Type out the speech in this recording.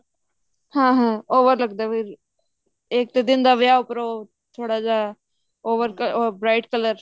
ਹਮ ਹਮ ਓ ਵਰ ਲੱਗਦਾ ਫ਼ੇਰ ਇੱਕ ਦਿਨ ਦਾ ਵਿਆਹ ਉੱਪਰੋਂ ਥੋੜਾ ਜਾ over bright color